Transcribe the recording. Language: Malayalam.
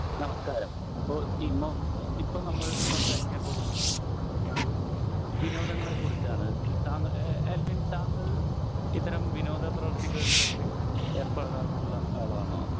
നമസ്കാരം അപ്പൊ ഇപ്പൊ നമ്മൾ സംസാരിക്കാൻ പോകുന്നത് വിനോദങ്ങളെ കുറിച്ചാണ്. താങ്കൾ ഏഹ് ആൽവിൻ താങ്കൾ ഇത്തരം വിനോദ പ്രവർത്തികളിലൊക്കെ ഏർപ്പെടാറുള്ള ആളാണോ?